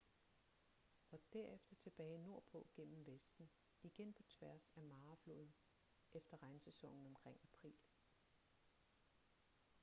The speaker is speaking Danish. og derefter tilbage nordpå gennem vesten igen på tværs af mara-floden efter regnsæsonen omkring april